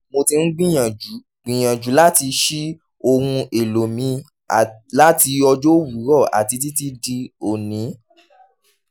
mo ti n gbiyanju gbiyanju lati ṣii ohun elo mi lati ọjọ owurọ ati titi di oni